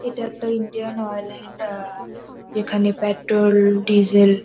এটা একটা Indian Oil -এর আ এখানে পেট্রল ডিজেল --